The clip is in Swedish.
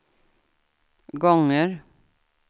gånger